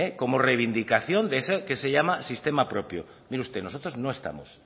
como reivindicación de eso que se llama sistema propio mire usted nosotros no estamos